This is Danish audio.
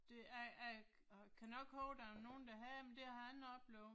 Det jeg jeg kan nok huske der var nogen der havde, men det har ikke oplevet